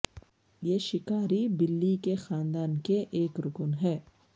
یہ شکاری بلی کے خاندان کے ایک رکن ہے